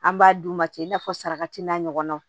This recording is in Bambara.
An b'a d'u ma cɛ i n'a fɔ sarakati n'a ɲɔgɔnna